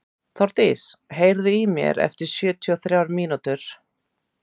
Þórdís, heyrðu í mér eftir sjötíu og þrjár mínútur.